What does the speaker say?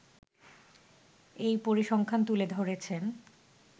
এই পরিসংখ্যান তুলে ধরেছেন